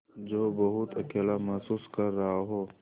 जो बहुत अकेला महसूस कर रहा हो